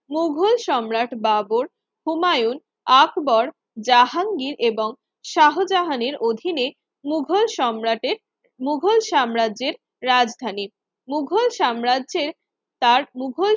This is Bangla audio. মুঘল সম্রাট বাবর, হুমায়ুন, আকবর, জাহাঙ্গীর এবং শাহজাহানের অধীনে মুঘল সম্রাটের মুঘল সাম্রাজ্যের রাজধানী মুঘল সাম্রাজ্যের তার মুঘল